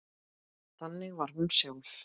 Þannig var hún sjálf.